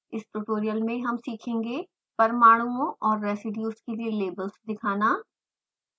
इस ट्यूटोरियल में हम सीखेंगे परमाणुओं और residues के लिए लेबल्स दिखाना